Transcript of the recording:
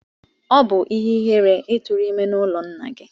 Ọ bubu ihe-ihere I turu ime n'ulo nna gi.